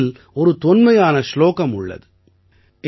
நம் முறையில் ஒரு தொன்மையான சுலோகம் உள்ளது